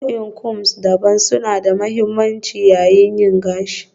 Nau'o'in combs daban-daban suna da mahimmanci yayin yin gashi